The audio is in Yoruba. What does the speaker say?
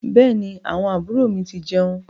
Bẹẹni, àwọn àbúrò mi ti jeun